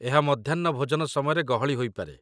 ଏହା ମଧ୍ୟାହ୍ନ ଭୋଜନ ସମୟରେ ଗହଳି ହୋଇପାରେ